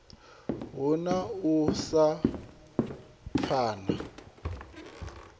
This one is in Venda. hu na u sa pfana